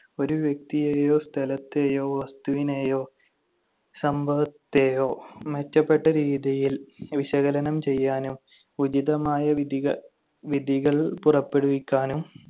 ഒരു വ്യക്തിയെയോ സ്ഥലത്തെയോ വസ്തുവിനെയോ സംഭവത്തെയോ മെച്ചപ്പെട്ട രീതിയിൽ വിശകലനം ചെയ്യാനും ഉചിതമായ വിധിക~ വിധികൾ പുറപ്പെടുവിക്കാനും